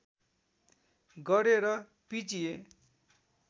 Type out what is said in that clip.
गरे र पिजिए